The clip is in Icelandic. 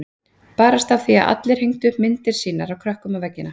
Barasta af því að allir aðrir hengdu myndir af sínum krökkum á veggina.